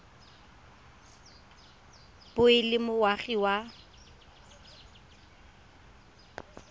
bo e le moagi wa